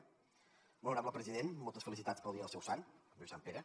molt honorable president moltes felicitats pel dia del seu sant avui és sant pere